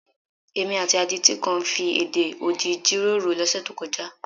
Èmi àti adití kan fi èdè odi jíròrò lọ́sẹ̀ tó kọjá.